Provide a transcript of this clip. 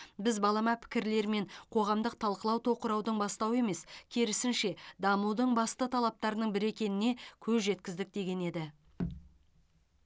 біз балама пікірлер мен қоғамдық талқылау тоқыраудың бастауы емес керісінше дамудың басты талаптарының бірі екеніне көз жеткіздік деген еді